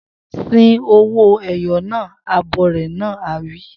Sin owó-ẹyọ naa! Abọrẹ̀ náà á wí.